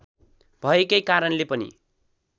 भएकै कारणले पनि